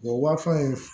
Wa fɛn